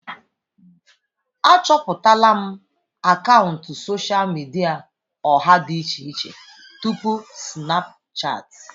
Achọpụtala m akaụntụ sosha midia ọha dị iche iche tupu Sinapụchati.